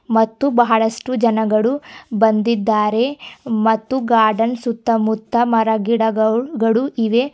ಮತ್ತು ಬಹಳಷ್ಟು ಜನಗಳು ಬಂದಿದ್ದಾರೆ ಮತ್ತು ಗಾರ್ಡನ್ ಸುತ್ತಮುತ್ತ ಮರ ಗಿಡಗೌಗಳು ಇವೆ.